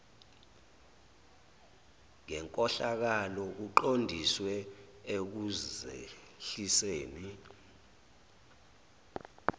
ngenkohlakalo kuqondiswe ekuzehliseni